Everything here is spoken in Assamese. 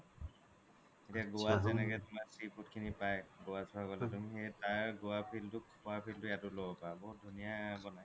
এতিয়া goa ত যেনেকে sea food খিনি পাই goa সুৱা গ্'লে goa feel তো খুৱা feel তো ইয়াও লব পাৰা বহুত ধুনিয়া বনাই